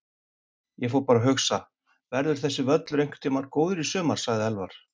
Ég fór bara að hugsa: Verður þessi völlur einhvern tímann góður í sumar? sagði Elvar.